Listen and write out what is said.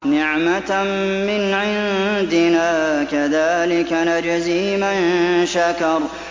نِّعْمَةً مِّنْ عِندِنَا ۚ كَذَٰلِكَ نَجْزِي مَن شَكَرَ